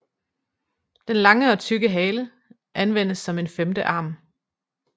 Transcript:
Den lange og tykke hale anvendes som en femte arm